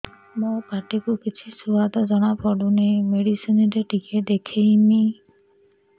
ମୋ ପାଟି କୁ କିଛି ସୁଆଦ ଜଣାପଡ଼ୁନି ମେଡିସିନ ରେ ଟିକେ ଦେଖେଇମି